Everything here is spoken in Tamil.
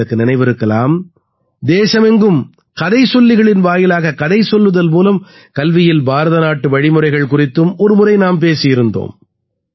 உங்களுக்கு நினைவிருக்கலாம் தேசமெங்கும் கதை சொல்லிகளின் வாயிலாக கதை சொல்லுதல் மூலம் கல்வியில் பாரத நாட்டு வழிமுறைகள் குறித்தும் ஒரு முறை நாம் பேசியிருந்தோம்